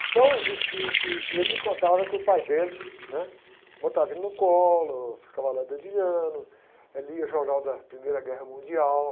Então, uh. uh. uh, ele me contava que o pai dele, né? Botava ele no colo, ficava lá dedilhando, eh, lia o jornal da Primeira Guerra Mundial.